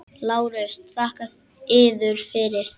LÁRUS: Þakka yður fyrir!